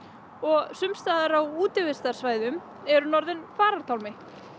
og sums staðar á útivistarsvæðum er hún orðin farartálmi